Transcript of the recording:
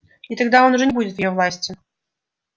и тогда он уже не будет в её власти